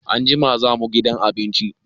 Anjima za mu gidan abinci.